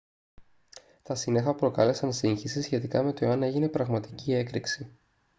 τα σύννεφα προκάλεσαν σύγχυση σχετικά με το εάν έγινε πραγματική έκρηξη